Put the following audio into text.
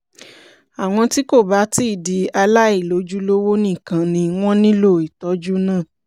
àwọn tí kò bá ti di aláìlójúlówó nìkan ni wọ́n nílò ìtọ́jú náà